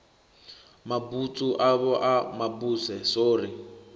mabutswu avho a mabuse sori